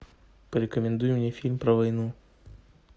порекомендуй мне фильм про войну